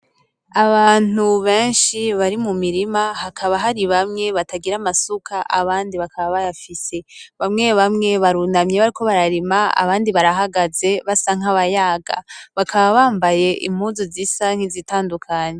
Abantu benshi bari mu mirima hakaba hari bamwe batagira amasuka abandi bakaba bayafise, bamwe bamwe barunamye bariko bararima abandi nabo barahagaze basa nkabayaga, bakaba bambaye impuzu zisa nk'izitandukanye.